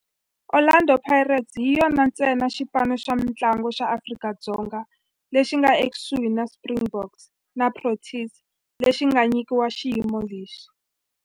Orlando Pirates hi yona ntsena xipano xa mintlangu xa Afrika-Dzonga lexi nga ekusuhi na Springboks na Proteas lexi nga nyikiwa xiyimo lexi.